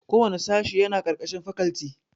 Kowanne sashe yana ƙarƙashin fakalti